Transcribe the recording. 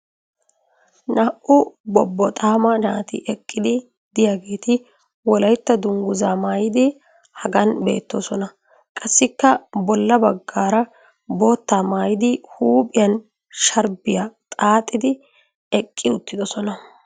naa'u bobboxaama naati eqqidi diyageeti wolaytta danguzzaa maayidi hagan beetoosona. qassikka bola bagara boottaa maayidi huuphiyan sharbbiya xaaxxidi eqii uttidosona.